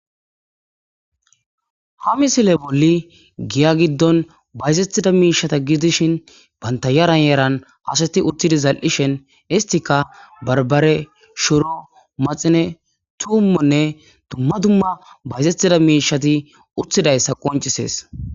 ha misile bolli giya giddon bayzettida miishata gidishin banta yaran yeran asati uttidi zal7ishen histika barbare shuro maxine tuummonne dumma dumma bayzettida miishati uttidayssa qoncisees